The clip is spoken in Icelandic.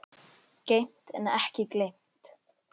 Geymt en ekki gleymt